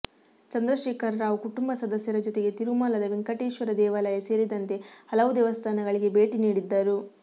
ಚಂದ್ರಶೇಖರ ರಾವ್ ಕುಟುಂಬ ಸದಸ್ಯರ ಜೊತೆಗೆ ತಿರುಮಲದ ವೆಂಕಟೇಶ್ವರ ದೇವಾಲಯ ಸೇರಿದಂತೆ ಹಲವು ದೇವಸ್ಥಾನಗಳಿಗೆ ಭೇಟಿ ನೀಡಿದ್ದರು